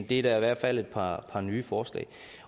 det er da i hvert fald et par nye forslag